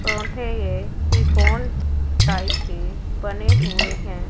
टोंठे ये कि कौन टाइत के बने हुए हैं।